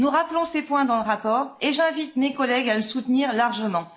Nous rappelons ces points dans le rapport et j'invite mes collègues à le soutenir largement.